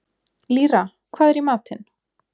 Lýra, hvað er í matinn?